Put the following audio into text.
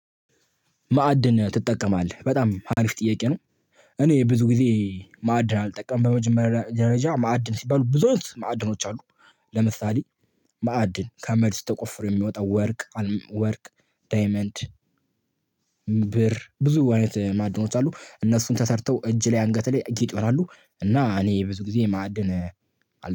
ማዕድን ትጠቀማለህ በጣም አሪፍ ጥያቄ ነው። እኔ ብዙ ጊዜ ማዕድን አልጠቀምም። በደረጃ ማዕድን ሲባሉ ብዙዎች ማዕድኖች አሉ። ለምሳሌ፦ ማዕድን ከመድስ ተቆፍሮ የሚወጣው ወርቅ- ወርቅ፣ ዳይመንድ፣ ብር ብዙ አይነት ማዕድኖች አሉ። እነሱን ተሰርተው እጅ ላይ፣ አንገት ላይ፣ ጌጥ ይሆናሉ። እና እኔ ብዙ ጊዜ ማዕድን አል